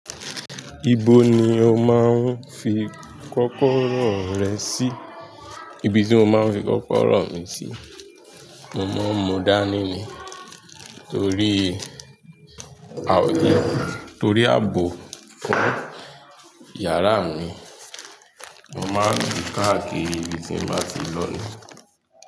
Ibo ni o máa ń fi kọ́kọ́rọ́ rẹ sí? Ibi tí mo máa ń fi kọ́kọ́rọ́ mi sí, mo mọ̀ọ́ Mu dánì ni. Torí a, torí ààbò yàrá mi, mo máa ń di káàkiri ibi tí mo bá ti lọ ní.